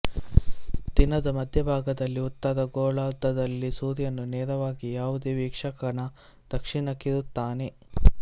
ದಿನದ ಮಧ್ಯಭಾಗದಲ್ಲಿ ಉತ್ತರ ಗೋಳಾರ್ಧದಲ್ಲಿ ಸೂರ್ಯನು ನೇರವಾಗಿ ಯಾವುದೇ ವೀಕ್ಷಕನ ದಕ್ಷಿಣಕ್ಕಿರುತ್ತಾನೆ